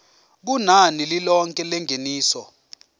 kunani lilonke lengeniso